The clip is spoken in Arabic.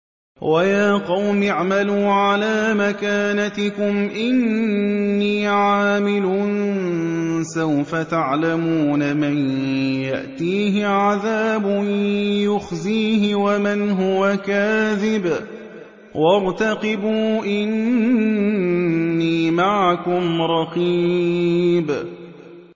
وَيَا قَوْمِ اعْمَلُوا عَلَىٰ مَكَانَتِكُمْ إِنِّي عَامِلٌ ۖ سَوْفَ تَعْلَمُونَ مَن يَأْتِيهِ عَذَابٌ يُخْزِيهِ وَمَنْ هُوَ كَاذِبٌ ۖ وَارْتَقِبُوا إِنِّي مَعَكُمْ رَقِيبٌ